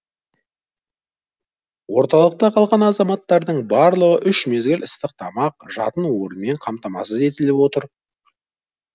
орталықта қалған азаматтардың барлығы үш мезгіл ыстық тамақ жатын орынмен қамтамасыз етіліп отыр